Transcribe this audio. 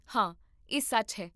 ਹਾਂ, ਇਹ ਸੱਚ ਹੈ